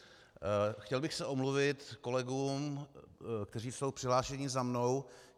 Chtěl bych se omluvit kolegům, kteří jsou přihlášení za mnou.